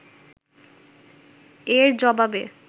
এর জবাবে